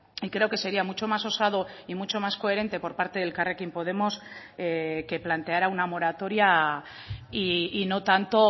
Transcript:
y creo que sería mucho más osado y mucho más coherente por parte de elkarrekin podemos que planteara una moratoria y no tanto